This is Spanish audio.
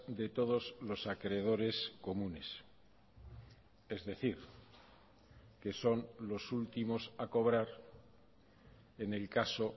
de todos los acreedores comunes es decir que son los últimos a cobrar en el caso